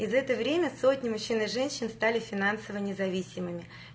и за это время сотни мужчин и женщин стали финансово независимыми